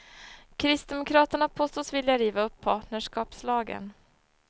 Kristdemokraterna påstås vilja riva upp partnerskapslagen.